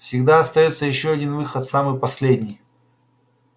всегда остаётся ещё один выход самый последний